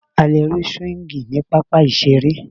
A lè rí súwíngì ní pápá ìseré